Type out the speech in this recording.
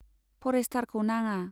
फरेष्टारखौ नाङा।